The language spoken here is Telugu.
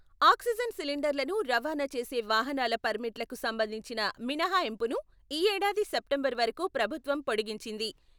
ఆక్సిజన్ సిలిండర్లను రవాణా చేసే వాహనాల పర్మిట్లకు సంబంధించిన మినహాయింపును ఈ ఏడాది సెప్టెంబర్ వరకు ప్రభుత్వం పొడిగించింది.